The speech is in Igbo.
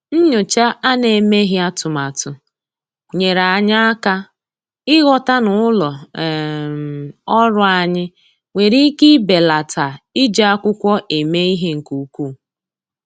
Nyòchá à nà-èméghị́ atụ́matụ nyèèrè anyị́ áká ị́ghọ́tà na ụ́lọ́ um ọ́rụ́ anyị́ nwere ike ibèlàtá iji ákwụ́kwọ́ èmé ìhè nke ukwuu.